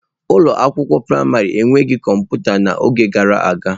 Ụlọ akwụkwọ praịmarị enweghị kọmputa n'oge gara aga.